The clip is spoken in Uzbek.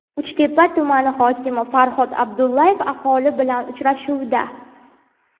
Uchtepa tumani hokimi Farhod Abdullaev aholi bilan uchrashuvda.